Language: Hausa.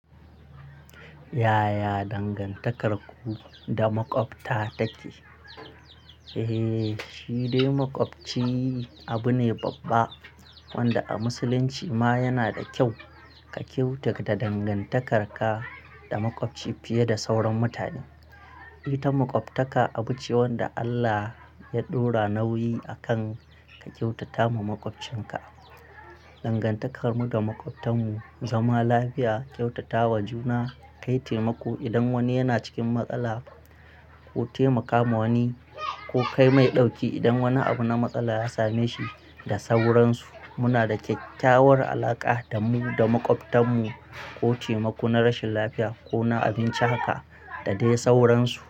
Yaya dangantakarku da makwabta take? Eh, shi dai makwabci abu ne babba wanda a musulunci ma yana da kyau ka kyautata dangantakar ka da makwabci fiye da sauran mutane. Ita makwabtaka abu ce wanda Allah ya ɗora nauyi akan ka kyautata ma makwabcinka. Dangantakarmu da makwabtanmu zama lafiya, kyautatawa juna, kai taimako idan wani yana cikin matsala ko taimaka ma wani ko kai mai ɗauki idan wani abu na matsala ya same shi da sauransu. Muna da kyakkyawar alaqa da mu da makwabtanmu, ko taimako na rashin lafiya ko na abinci haka da dai sauransu.